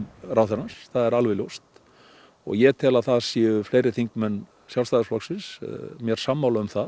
ráðherrans það er alveg ljóst ég tel að það séu fleiri þingmenn Sjálfstæðisflokksins mér sammála um það